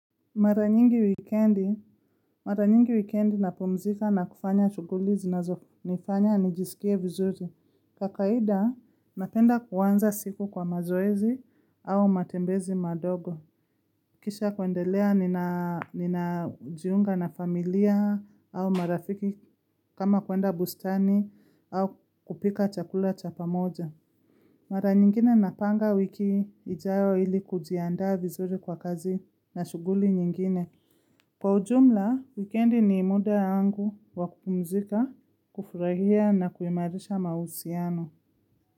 Mara nyingi wikendi, mara nyingi wikendi napumzika na kufanya shughuli zinazonifanya nijiskie vizuri. Kwa kawaida, napenda kuanza siku kwa mazoezi au matembezi madogo. Kisha kwendelea ninajiunga na familia au marafiki kama kwenda bustani au kupika chakula cha pa moja. Mara nyingine napanga wiki ijayo ili kujiandaa vizuri kwa kazi na shuguli nyingine. Kwa ujumla, wikendi ni muda wangu wakupumzika, kufurahia na kuhimarisha mausiano.